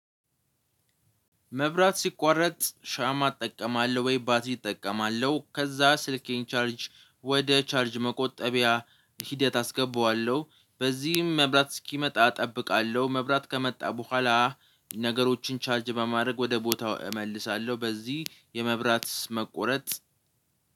መብራት ሲቋረጥ ሻማ እጠቀማለሁ ወይባትሪ ይጠቀማለሁ ከዛ ስልኬን ቻርጅ ወደ ቻርጅ መቆጠቢያ ሂደት አስገባዋለሁ። በዚህም መብራት እስኪመጣ እጠብቃለሁ መብራት ከመጣ በኋላ ነገሮችን ቻርጅ በማድረግ ወደ ቦታው እመልሳለሁ። በዚህ የመብራት መቆረጥ